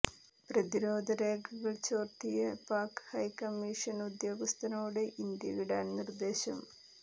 പ്രതിരോധ രേഖകൾ ചോർത്തിയ പാക് ഹൈ കമ്മീഷൻ ഉദ്യോഗസ്ഥനോട് ഇന്ത്യ വിടാൻ നിർദ്ദേശം